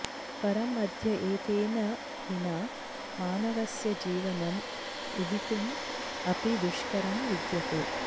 परं अद्य एतेन विना मानवस्य जीवनम् उहितुम् अपि दुष्करं विद्यते